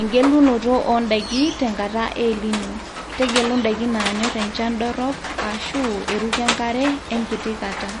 egelunoto o ndaiki tenkata e El nino, tegelu ndaiki naanyor enchan dorop ashu eruko enkare enkiti kata,